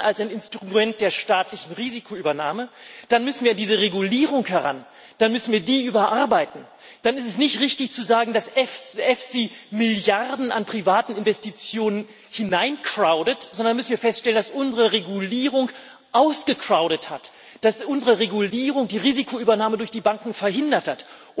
als Instrument der staatlichen Risikoübernahme zu verlängern, dann müssen wir an diese Regulierung heran, dann müssen wir die überarbeiten. Dann ist es nicht richtig zu sagen, dass EFSI Milliarden an privaten Investitionen hineincrowded, sondern dann müssen wir feststellen, dass unsere Regulierung ausgecrowded hat, dass unsere Regulierung die Risikoübernahme durch die Banken verhindert hat.